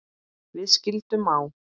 Við skildum á